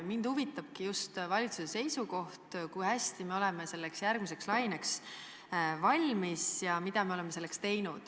Mind huvitabki valitsuse seisukoht, kui hästi me oleme selleks järgmiseks laineks valmis ja mida me oleme selleks teinud.